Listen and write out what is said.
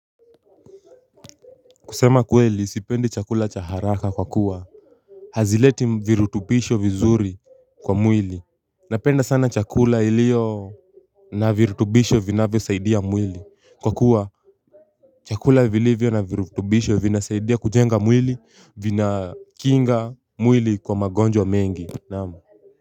Kusema kweli sipendi chakula cha haraka kwa kuwa hazileti virutubisho vizuri kwa mwili. Napenda sana chakula ilio na virutubisho vinavyosaidia mwili. Kwa kuwa chakula vilivyo na virutubisho vinasaidia kujenga mwili. Vinakinga mwili kwa magonjwa mengi. Naam.